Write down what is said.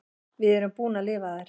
Við erum búin að lifa þær.